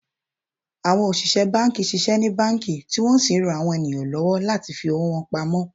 Àwọn òṣìṣẹ́ banki ṣiṣẹ́ ní banki, tí wọ́n sì ń rán àwọn ènìyàn lọ́wọ́ láti fi owó wọn pamó